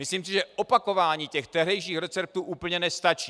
Myslím si, že opakování těch tehdejších receptů úplně nestačí.